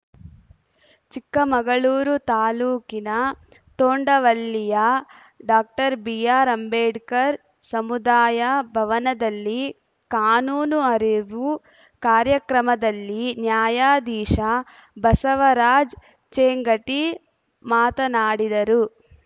ಚಿಕ್ಕಮಗಳೂರು ತಾಲೂಕಿನ ತೊಂಡವಳ್ಳಿಯ doctor B R Ambedkar ಸಮುದಾಯ ಭವನದಲ್ಲಿ ಕಾನೂನು ಅರಿವು ಕಾರ್ಯಕ್ರಮದಲ್ಲಿ ನ್ಯಾಯಾಧೀಶ ಬಸವರಾಜ್‌ ಚೇಂಗಟಿ ಮಾತನಾಡಿದರು